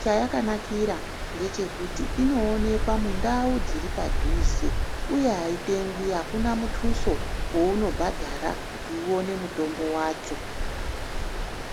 Chayakanakira ngechekuti inoonekwa mundau dziri padhuze uye ayitengwi akuna muthuso weunobhadhara kuti uwone muthombo wacho.